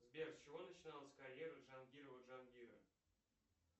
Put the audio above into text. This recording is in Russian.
сбер с чего начиналась карьера джангирова джангира